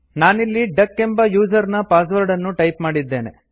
ನಾನಿಲ್ಲಿ ಡಕ್ ಎಂಬ ಯೂಸರ್ ನ ಪಾಸ್ವರ್ಡ್ ಅನ್ನು ಟೈಪ್ ಮಾಡಿದ್ದೇನೆ